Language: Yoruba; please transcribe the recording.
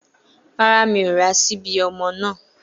Rárá, mi ò ra ṣíbí ọmọ náà.